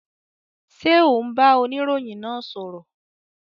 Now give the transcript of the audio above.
Ṣé o n bá oniroyin náà sọ̀rọ̀?